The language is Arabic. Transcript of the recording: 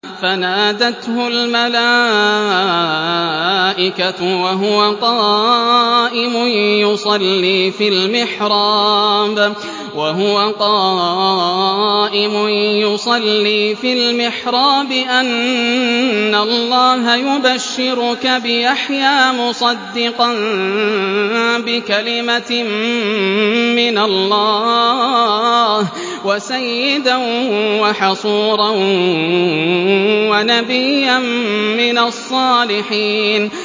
فَنَادَتْهُ الْمَلَائِكَةُ وَهُوَ قَائِمٌ يُصَلِّي فِي الْمِحْرَابِ أَنَّ اللَّهَ يُبَشِّرُكَ بِيَحْيَىٰ مُصَدِّقًا بِكَلِمَةٍ مِّنَ اللَّهِ وَسَيِّدًا وَحَصُورًا وَنَبِيًّا مِّنَ الصَّالِحِينَ